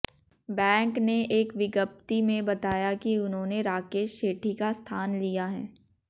bank ने एक विज्ञप्ति में बताया कि उन्होंने राकेश सेठी का स्थान लिया है